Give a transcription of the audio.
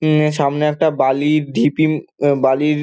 এ সামনে একটা বালির ঢিপি উমম বালির |